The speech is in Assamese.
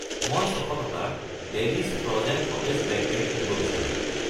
মই 600 টকাৰ ডেলিছ ফ্ৰ’জেন সতেজ ব্লেকবেৰী কিনিব বিচাৰোঁ।